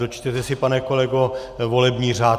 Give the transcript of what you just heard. Dočtěte si, pane kolego, volební řád.